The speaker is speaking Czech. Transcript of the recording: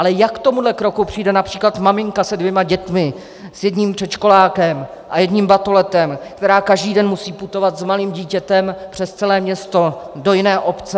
Ale jak k tomuto kroku přijde například maminka se dvěma dětmi, s jedním předškolákem a jedním batoletem, která každý den musí putovat s malým dítětem přes celé město, do jiné obce?